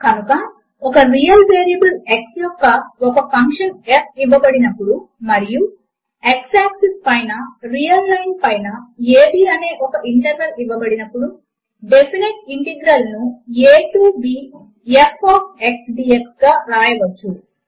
కనుక ఒక real variable x యొక్క ఒక ఫంక్షన్ f ఇవ్వబడినప్పుడు మరియు x ఆక్సిస్ పైన రియల్ లైన్ పైన అ b అనే ఒక ఇంటర్వల్ ఇవ్వబడినప్పుడు డెఫినెట్ ఇంటిగ్రల్ ను a to b f of x dx గా వ్రాయవచ్చు